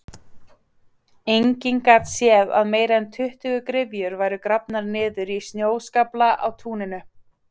Enginn gat séð að meira en tuttugu gryfjur væru grafnar niður í snjóskaflana á túninu.